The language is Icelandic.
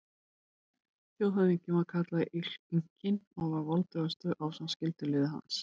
Þjóðhöfðinginn var kallaður Inkinn og var voldugastur ásamt skyldulið hans.